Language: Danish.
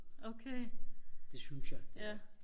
okay ja